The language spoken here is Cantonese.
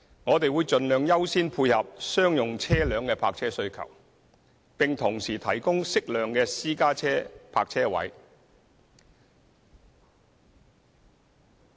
我們會盡量優先配合商用車輛的泊車需求，並同時提供適量的私家車泊車位。